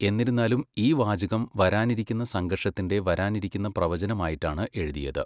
എന്നിരുന്നാലും, ഈ വാചകം വരാനിരിക്കുന്ന സംഘർഷത്തിന്റെ വരാനിരിക്കുന്ന പ്രവചനമായിട്ടാണ് എഴുതിയത്.